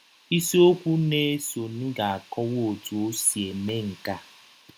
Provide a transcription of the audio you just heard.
Isiọkwụ na - esonụ ga - akọwa ọtụ ọ si eme nke a.